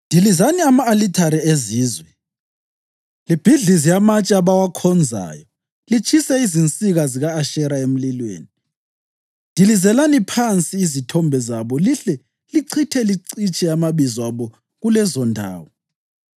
Dilizani ama-alithare ezizwe, libhidlize amatshe abawakhonzayo litshise izinsika zika-Ashera emlilweni, dilizelani phansi izithombe zabo lihle lichithe licitshe amabizo abo kulezondawo.